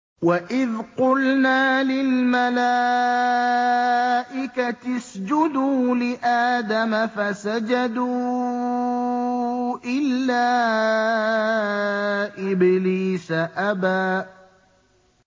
وَإِذْ قُلْنَا لِلْمَلَائِكَةِ اسْجُدُوا لِآدَمَ فَسَجَدُوا إِلَّا إِبْلِيسَ أَبَىٰ